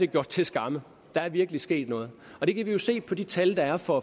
gjort til skamme der er virkelig sket noget og det kan vi jo se på de tal der er for